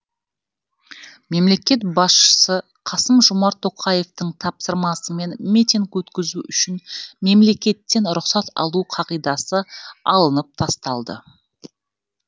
мемлекет басшысы қасым жомарт тоқаевтың тапсырмасымен митинг өткізу үшін мемлекеттен рұқсат алу қағидасы алынып тасталды